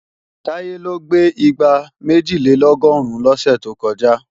Táyé ló gbé igbá méjìlélọ́gọ́rùn lọ lọ́sẹ̀ tó kọjá